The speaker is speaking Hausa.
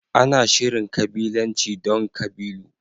Ana Shirin kabilanci don kabilu.